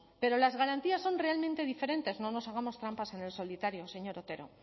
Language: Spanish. pero las garantías son realmente diferentes no nos hagamos trampas en el solitario señor otero